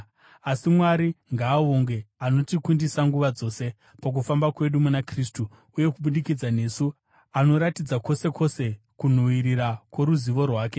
Asi Mwari ngaavongwe, anotikundisa nguva dzose pakufamba kwedu muna Kristu uye kubudikidza nesu anoratidza kwose kwose kunhuhwirira kworuzivo rwake.